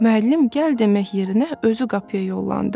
Müəllim gəl demək yerinə özü qapıya yollandı.